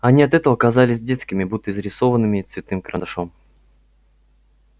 они от этого казались детскими будто изрисованными цветным карандашом